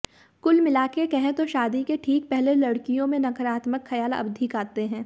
कुल मिलाकर कहें तो शादी के ठीक पहले लड़कियों में नकारात्मक खयाल अधिक आते हैं